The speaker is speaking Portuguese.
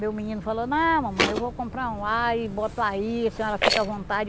Meu menino falou, não, mamãe, eu vou comprar um ar e boto aí, a senhora fica à vontade.